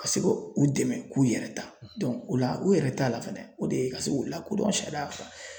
Ka se ka u dɛmɛ, u k'u yɛrɛ ta o la o yɛrɛ t'a la fɛnɛ, o de ye ka se k'u lakodɔn sariya kan